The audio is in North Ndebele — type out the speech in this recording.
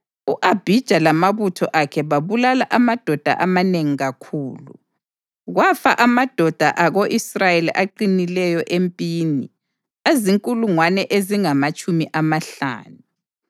U-Abhija lamabutho akhe babulala amadoda amanengi kakhulu, kwafa amadoda ako-Israyeli aqinileyo empini azinkulungwane ezingamatshumi amahlanu.